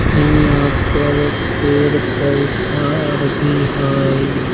ई यहाँ पर पेड़-पोधा आर भी हई।